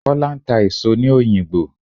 Kọ́lá ń ta èso ní òyìngbò.